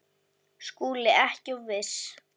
SKÚLI: Ekki of viss!